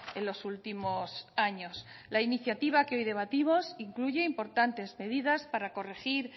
en los últimos años la iniciativa que hoy debatimos incluye importantes medidas para corregir